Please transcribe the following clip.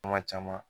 Kuma caman